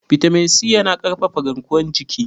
bitamin C yana ƙarfafa garkuwar jiki